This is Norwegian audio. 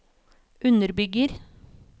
underbygger